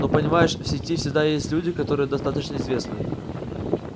ну понимаешь в сети всегда есть люди которые достаточно известны